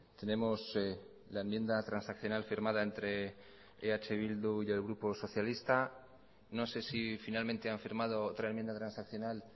tenemos la enmienda transaccional firmada entre eh bildu y el grupo socialista no sé si finalmente han firmado otra enmienda transaccional